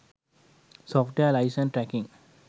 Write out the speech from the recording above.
software license tracking